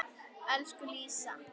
Elsku Lísa.